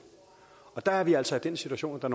og der er vi altså i den situation at der